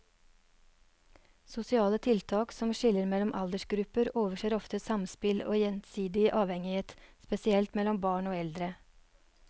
Sosiale tiltak som skiller mellom aldersgrupper overser ofte samspill og gjensidig avhengighet, spesielt mellom barn og eldre.